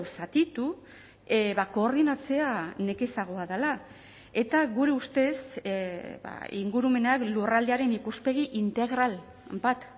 zatitu koordinatzea nekezagoa dela eta gure ustez ingurumenak lurraldearen ikuspegi integral bat